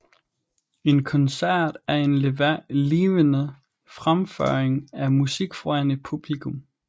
En koncert er en levende fremføring af musik foran et publikum